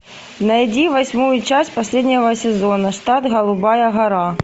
найди восьмую часть последнего сезона штат голубая гора